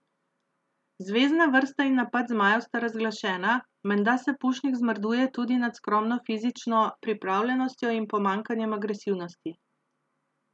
Zvezna vrsta in napad zmajev sta razglašena, menda se Pušnik zmrduje tudi nad skromno fizično pripravljenostjo in pomanjkanjem agresivnosti.